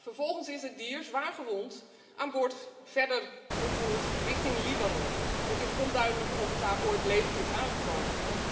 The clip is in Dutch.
Vervolgens is het dier zwaargewond aan boord verder vervoerd richting Libanon. Het is onduidelijk of het daar ooit levend is aangekomen.